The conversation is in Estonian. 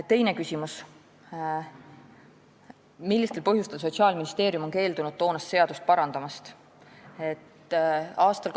Teine küsimus: "Millistel põhjustel on Sotsiaalministeerium keeldunud toonast seadust parandamast?